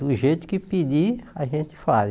Do jeito que pedir, a gente faz.